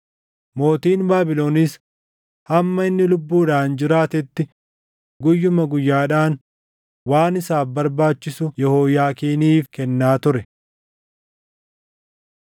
Mootiin Baabilonis hamma inni lubbuudhaan jiraatetti guyyuma guyyaadhaan waan isaaf barbaachisu Yehooyaakiiniif kennaa ture.